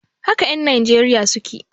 Haka en Nijeriya suke